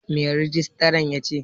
Me rijistran yace?